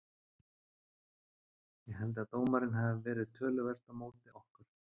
Ég held að dómarinn hafi verið töluvert á móti okkur.